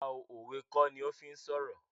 Rárá òwe kó ní o fí ń sọ̀rọ̀